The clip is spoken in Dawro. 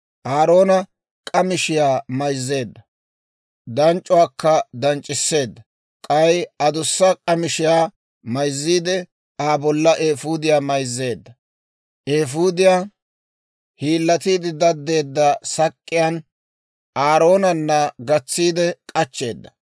Aaroona k'amishiyaa mayzzeedda; danc'c'uwaakka danc'c'isseedda. K'ay adussa k'amishiyaa mayzziide, Aa bollan eefuudiyaa mayzzeedda. Eefuudiyaa hiillatiide daddeedda sak'k'iyaan Aaroonana gatsiide k'achcheedda.